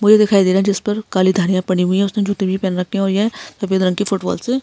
मुझे दिखाई दे रहा है जिस पर काली धौलिया पड़ी हुई है उसने जूते भी पहन रखे है और ये सफ़ेद रंग की फुटबॉल से --